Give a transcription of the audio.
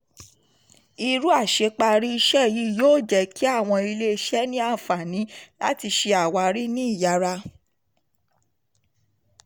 irú àṣeparí iṣẹ́ yìí yóò jẹ́ kí àwọn ilé-iṣẹ́ ní àǹfààní láti ṣe àwárí ní ìyára.